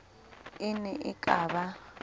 e ne e ka ba